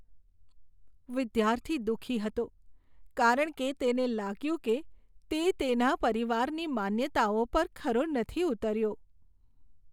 વિદ્યાર્થી દુઃખી હતો કારણ કે તેને લાગ્યું કે તે તેના પરિવારની માન્યતાઓ પર ખરો નથી ઉતર્યો.